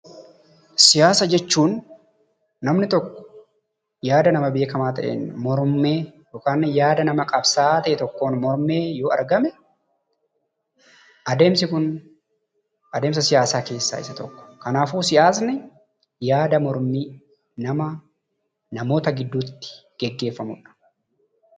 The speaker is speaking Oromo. Siyaasa jechuun namni tokko yaada nama beekamaa ta'een mormee yookan yaada nama qabsaa'aa ta'ee tokkoon mormee yoo argame adeemsi kun adeemsa siyaasaa keessaa isa tokko. Kanaafuu siyaasni yaada mormii nama namoota gidduutti geggeeffamudha.